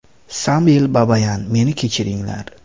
Samvel Babayan: Meni kechiringlar.